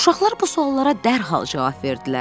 Uşaqlar bu suallara dərhal cavab verdilər.